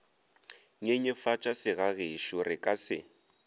nyenyefatša segagešo re ka se